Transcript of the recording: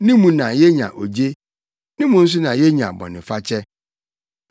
Ne mu na yenya ogye. Ne mu nso na yenya bɔnefakyɛ.